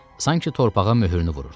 Sanki torpağa möhrünü vururdu.